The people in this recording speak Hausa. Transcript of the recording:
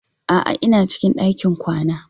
A'a, ina cikin ɗakin kwana.